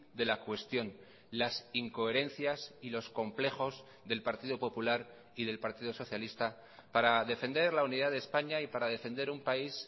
de la cuestión las incoherencias y los complejos del partido popular y del partido socialista para defender la unidad de españa y para defender un país